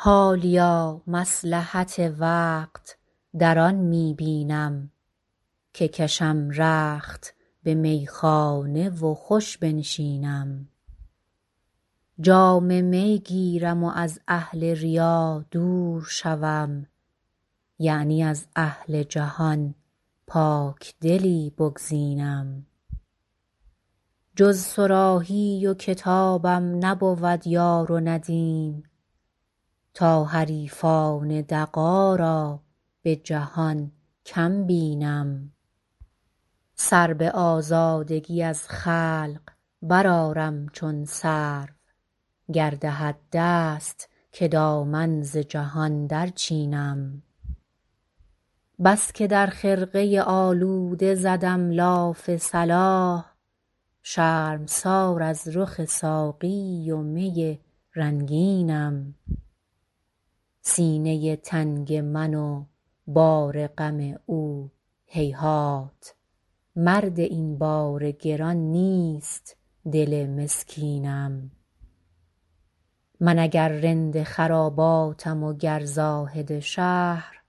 حالیا مصلحت وقت در آن می بینم که کشم رخت به میخانه و خوش بنشینم جام می گیرم و از اهل ریا دور شوم یعنی از اهل جهان پاکدلی بگزینم جز صراحی و کتابم نبود یار و ندیم تا حریفان دغا را به جهان کم بینم سر به آزادگی از خلق برآرم چون سرو گر دهد دست که دامن ز جهان درچینم بس که در خرقه آلوده زدم لاف صلاح شرمسار از رخ ساقی و می رنگینم سینه تنگ من و بار غم او هیهات مرد این بار گران نیست دل مسکینم من اگر رند خراباتم و گر زاهد شهر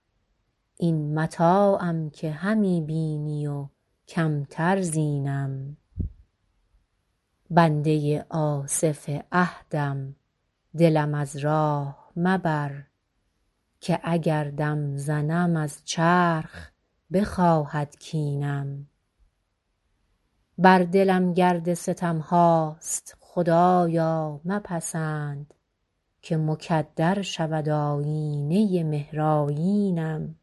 این متاعم که همی بینی و کمتر زینم بنده آصف عهدم دلم از راه مبر که اگر دم زنم از چرخ بخواهد کینم بر دلم گرد ستم هاست خدایا مپسند که مکدر شود آیینه مهرآیینم